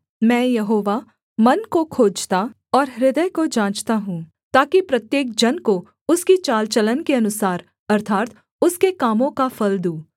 मैं यहोवा मन को खोजता और हृदय को जाँचता हूँ ताकि प्रत्येक जन को उसकी चालचलन के अनुसार अर्थात् उसके कामों का फल दूँ